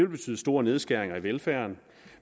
betyde store nedskæringer i velfærden